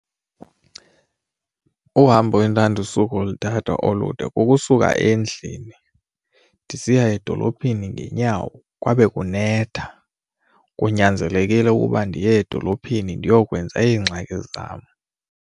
Uhambo endandisuka ulithatha olude kusuka endlini ndisiya edolophini ngeenyawo kwabe kunetha kunyanzelekile ukuba ndiye edolophini ndiyokwenza iingxaki.